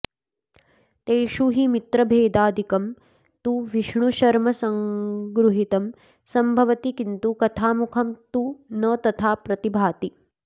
तेषु हि मित्रभेदादिकं तु विष्णुशर्मसङ्गृहीतं सम्भवति किन्तु कथामुखं तु न तथा प्रतिभाति